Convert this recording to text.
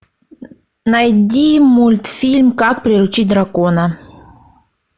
найди мультфильм как приручить дракона